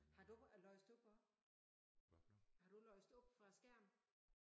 Har du læst op også? Har du læst op fra æ skærm?